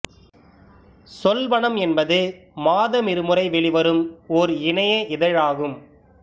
சொல்வனம் என்பது மாதமிருமுறை வெளிவரும் ஓர் இணைய இதழ் ஆகும்